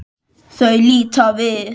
Þau líta við.